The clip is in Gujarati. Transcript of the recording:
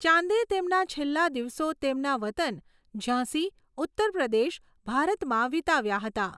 ચાંદે તેમના છેલ્લા દિવસો તેમના વતન ઝાંસી, ઉત્તર પ્રદેશ, ભારતમાં વિતાવ્યા હતા.